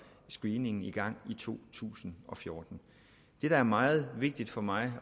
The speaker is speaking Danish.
screeningen i gang i to tusind og fjorten det der er meget vigtigt for mig